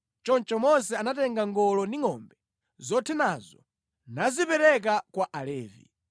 Choncho Mose anatenga ngolo ndi ngʼombe zothenazo nazipereka kwa Alevi.